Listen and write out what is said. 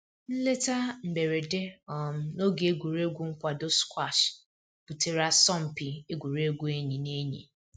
Nleta mberede um na oge egwuregwu nkwado squash butere asọmpi egwuregwu enyi na enyi